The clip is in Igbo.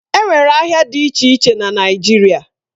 Enwere ahịa dị iche iche na Naijiria